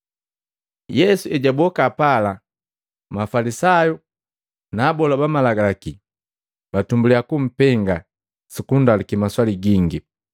Yesu ejaboka pala, Mafalisayu na abola ba Malagalaki batumbuliya kumpenga sukundaluki maswali gingi,